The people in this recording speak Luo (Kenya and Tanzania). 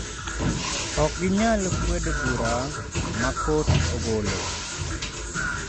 Ok ginyal kwedo bura ma kot ogolo.